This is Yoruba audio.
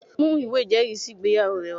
Mú ìwé ìjẹ́rìísí ìgbéyàwó rẹ wá!